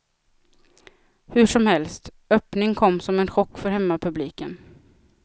Hur som helst, öppning kom som en chock för hemmapubliken.